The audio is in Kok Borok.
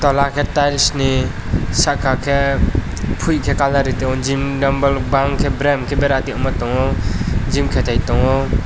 ara ke tiles ni saka ke poi ke colour ritongo gym dombor bang ke brem ke bara tongo gym katai tongo.